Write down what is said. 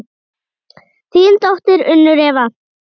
Þín dóttir, Unnur Eva.